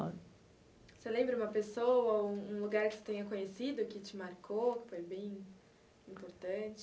Você lembra uma pessoa, ou um lugar que você tenha conhecido, que te marcou, que foi bem importante?